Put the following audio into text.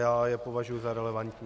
Já je považuji za relevantní.